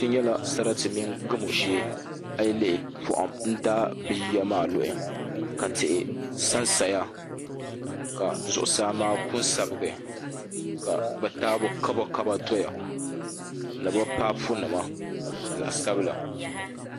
Kpɛ nyɛla sarati mini gamo shee a yi lihi poham n daai bi yiya maa luhi ka tihi sansaya ka zuɣusaa maa ku n sabigi ka bi taabo kaba kaba doya ni bi paapu nima zaɣ sabila